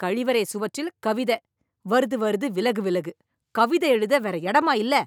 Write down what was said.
கழிவறை சுவற்றில் கவிதை "வருது வருது, விலகு விலகு", கவிதை எழுத வேற இடமா இல்லை.